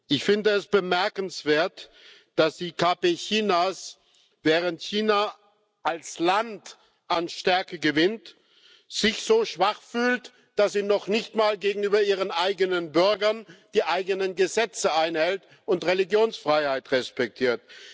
Ich finde es bemerkenswert, dass sich die KP Chinas, während China als Land an Stärke gewinnt, so schwach fühlt, dass sie noch nicht einmal gegenüber ihren eigenen Bürgern die eigenen Gesetze einhält und Religionsfreiheit respektiert.